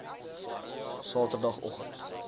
saterdagoggend